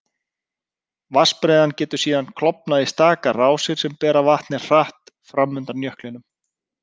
Vatnsbreiðan getur síðan klofnað í stakar rásir sem bera vatnið hratt fram undan jöklinum.